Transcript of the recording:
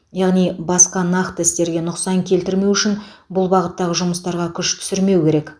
яғни басқа нақты істерге нұқсан келтірмеу үшін бұл бағыттағы жұмыстарға күш түсірмеу керек